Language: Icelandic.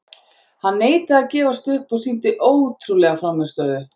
Hann neitaði að gefast upp og sýndi ótrúlega frammistöðu.